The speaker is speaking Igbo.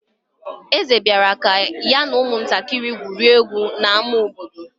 Eze bịara ka ya na ụmụntakịrị gwurie egwu n'ámá obodo.